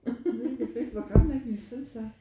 Mega fedt hvor gammel er din søn så?